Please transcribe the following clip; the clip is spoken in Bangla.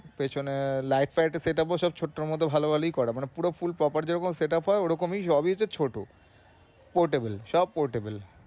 পেছনে light tight ও set up হয়েছে, সব ছোট্টোর মধ্যে ভালো ভালোই করা মানে পুরো full properly যেমন set up হয় ওরকমই সবই হচ্ছে ছোটো। Portable সব portable